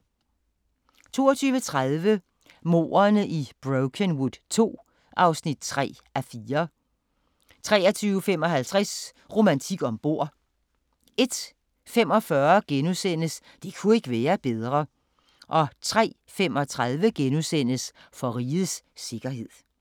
22:30: Mordene i Brokenwood II (3:4) 23:55: Romantik om bord 01:45: Det ku' ikke være bedre * 03:35: For rigets sikkerhed *